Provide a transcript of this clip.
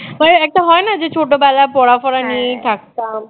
মানে একটা হয় না যে ছোট বেলায় পড়া ফড়া নিয়েই থাকতাম